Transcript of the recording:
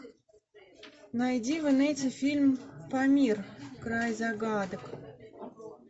найди в инете фильм памир край загадок